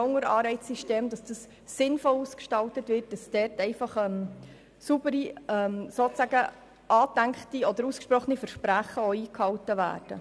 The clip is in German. Zum Anreizsystem gehört unseres Erachtens auch, dass es sinnvoll und sauber ausgestaltet wird, damit angedachte oder ausgesprochene Versprechen auch eingehalten werden.